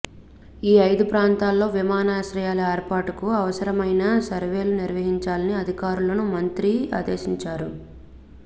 ఈ ఐదు ప్రాంతాల్లో విమానాశ్రయాల ఏర్పాటుకు అవసరమైన సర్వేలు నిర్వహించాలని అధికారులను మంత్రి ఆదేశించారు